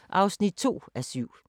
DR K